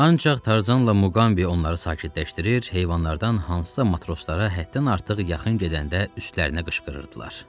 Ancaq Tarzanla Muqambi onları sakitləşdirir, heyvanlardan hansısa matroslara həddən artıq yaxın gedəndə üstlərinə qışqırırdılar.